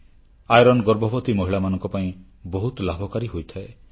ଲୌହସାର ଗର୍ଭବତୀ ମହିଳାମାନଙ୍କ ପାଇଁ ବହୁତ ଲାଭକାରୀ ହୋଇଥାଏ